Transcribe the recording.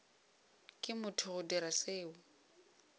ke motho go dira seo